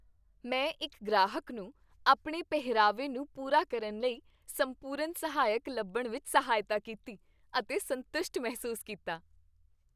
ਮੈਂ ਇੱਕ ਗ੍ਰਾਹਕ ਨੂੰ ਆਪਣੇ ਪਹਿਰਾਵੇ ਨੂੰ ਪੂਰਾ ਕਰਨ ਲਈ ਸੰਪੂਰਨ ਸਹਾਇਕ ਲੱਭਣ ਵਿੱਚ ਸਹਾਇਤਾ ਕੀਤੀ, ਅਤੇ ਸੰਤੁਸ਼ਟ ਮਹਿਸੂਸ ਕੀਤਾ।